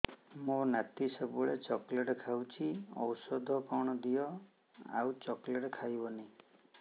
ମୋ ନାତି ସବୁବେଳେ ଚକଲେଟ ଖାଉଛି ଔଷଧ କଣ ଦିଅ ଆଉ ଚକଲେଟ ଖାଇବନି